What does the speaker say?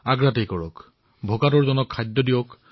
আৰু যিসকলে আমাৰ সৈতে মিলামিছা কৰিছিল তেওঁলোকেও পৰীক্ষা কৰাওক